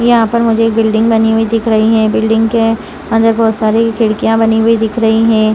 यहां पर मुझे बिल्डिंग बनी हुई दिख रही है बिल्डिंग के अंदर बहुत सारी खिड़कियां बनी हुई दिख रही हैं।